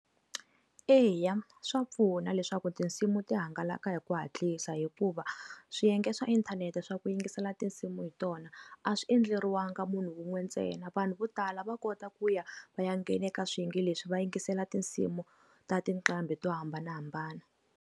Eya, swa pfuna leswaku tinsimu ti hangalaka hi ku hatlisa hikuva swiyenge swa inthanete swa ku yingisela tinsimu hi tona a swi endleriwaka munhu wun'we ntsena vanhu vo tala va kota ku ya va ya nghene ka swiyenge leswi va yingisela tinsimu ta tinqambi to hambanahambana.